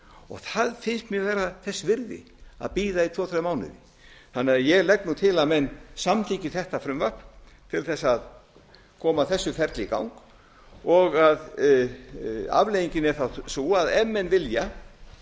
og það finnst mér vera þess virði að bíða í tvo þrjá mánuði þannig að ég legg nú til að menn samþykki þetta frumvarp til þess að koma þessu ferli í gang og afleiðingin er þá sú að ef menn vilja